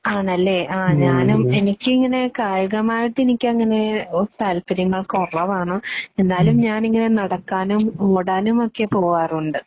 ആണല്ലേ. ആ ഞാനും എനിക്കിങ്ങനെ കായികമായിട്ട് എനിക്കങ്ങനെ താല്പര്യങ്ങൾ കുറവാണ്. എന്നാലും ഞാനിങ്ങനെ നടക്കാനും ഓടാനുമൊക്കെ പോകാറുണ്ട്.